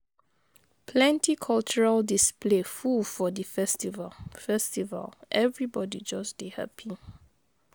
Plenty cultural display full for di festival, festival, everybodi just dey hapi.